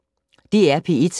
DR P1